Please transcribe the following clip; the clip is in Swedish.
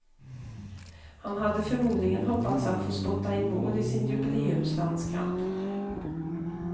Han hade förmodligen hoppats att få spotta in mål i sin jubileumslandskamp.